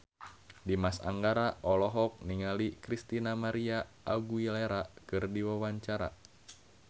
Dimas Anggara olohok ningali Christina María Aguilera keur diwawancara